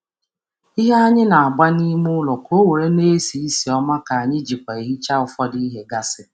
Ụdị ikaikuku na-esi ísì ụtọ na amasi anyi na-arụkwa ọrụ dị ka ncha dị ncha dị nro maka obere ebe.